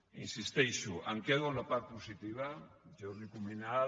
hi insisteixo em quedo amb la part positiva jordi cuminal